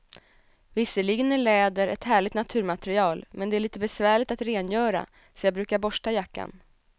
Visserligen är läder ett härligt naturmaterial, men det är lite besvärligt att rengöra, så jag brukar borsta jackan.